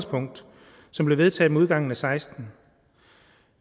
som blev vedtaget med udgangen og seksten